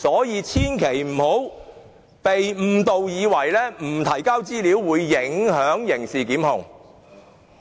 因此，大家千萬不要被誤導，以為不提交資料便會影響刑事檢控。